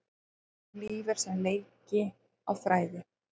Líf er sem leiki á þræði.